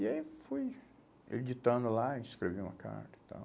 E aí fui editando lá, escrevi uma carta e tal.